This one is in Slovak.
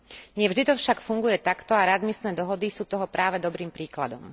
Nie vždy to však funguje takto a readmisné dohody sú toho práve dobrým príkladom.